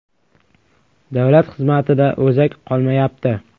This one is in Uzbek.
Davlat xizmatida o‘zak qolmayapti.